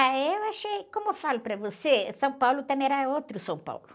Ah, eu achei... Como eu falo para você, São Paulo também era outro São Paulo.